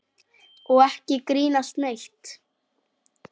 Og ekki grínast neitt!